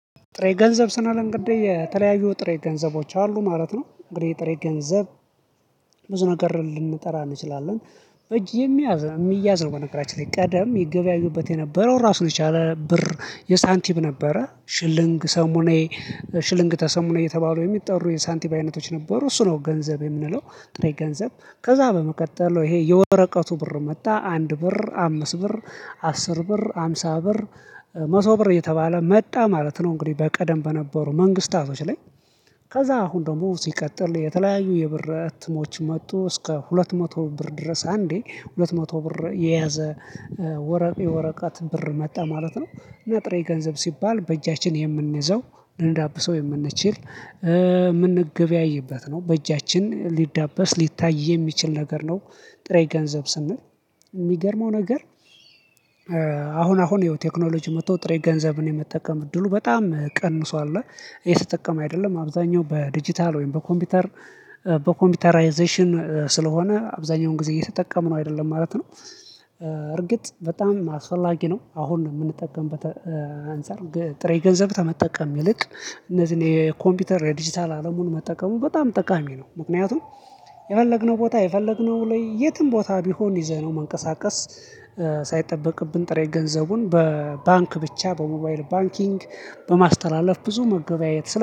ጥሬ ገንዘብ ስናልንግደኝ የተለያዩ ጥሬ ገንዘቦች አሉ ማለት ነው። እንግዲህ የጥሬ ገንዘብ ብዙ ነገር ልንጠራ እንችላለን። በጅ የሚያዝ የሚያዝ ነው። በነገራችን ላይ ቀደም ይገበያዩበት የነበረው ራሱ የቻለ ብር የሳንቲብ ነበረ ሽልንግ ሰሞኔ። ሽልንግ ተሰሞኔ የተባሉ የሚጠሩ የሳንቲብ አይነቶች ነበሩ እሱ ነው። ገንዘብ የምንለው ጥሬ ገንዘብ ከዛ በመቀጠል ይሄ የወረቀቱ ብር መጣ አንድ ብር አምስት ብር አስር ብር ሃምሳ ብር መቶ ብር እየተባለ መጣ ማለት ነው። እንግዲህ በቀደም በነበሩ መንግስታቶች ላይ። ከዛ አሁን ደግሞ ሲቀጥል የተለያዩ የብር ትሞች መጡ እስከ ሁለት መቶ ብር ድረስ አንዴ ሁለት መቶ ብር የያዘ ወረቀት ብር መጣ ማለት ነው። ነጥሬ ገንዘብ ሲባል በእጃችን የምንይዘው ልንዳብሰው የምንችል የምንገበያይበት ነው በእጃችን ሊዳበስ ሊታይ የሚችል ነገር ነው። ጥሬ ገንዘብ ስንል። የሚገርመው ነገር አሁን አሁን የቴክኖሎጂ መጥቶ ጥሬ ገንዘብን የመጠቀም እድሉ በጣም ቀንሶ አለ ይሄ ስትጠቀም አይደለም አብዛኛው በዲጂታል ወይም በኮምፒውተር በኮምፒውተራይዜሽን ስለሆነ አብዛኛውን ጊዜ እየተጠቀምን ነው አይደለም ማለት ነው። እርግጥ በጣም አስፈላጊ ነው። አሁን የምንጠቀምበት አንፃር ጥሬ ገንዘብ ከመጠቀም ይልቅ እነዚህን የኮምፒውተር የዲጂታል አለሙን መጠቀሙ በጣም ጠቃሚ ነው። ምክንያቱም የፈለግነው ቦታ የፈለግነው ላይ የትም ቦታ ቢሆን ይዘህ ነው መንቀሳቀስ ሳይጠበቅብን ጥሬ ገንዘቡን በባንክ ብቻ በሞባይል ባንኪንግ በማስተላለፍ ብዙ መገበያየት